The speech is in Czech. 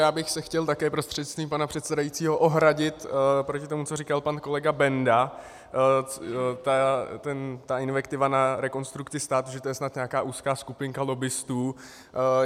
Já bych se chtěl také prostřednictvím pana předsedajícího ohradit proti tomu, co říkal pan kolega Benda, ta invektiva na Rekonstrukci státu, že to je snad nějaká úzká skupinka lobbistů.